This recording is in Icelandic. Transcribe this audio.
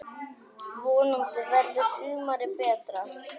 Vonandi verður sumarið betra!